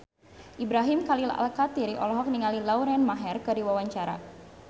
Ibrahim Khalil Alkatiri olohok ningali Lauren Maher keur diwawancara